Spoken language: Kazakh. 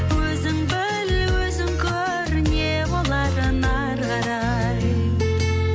өзің біл өзің көр не боларын ары қарай